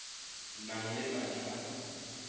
nang le madi a go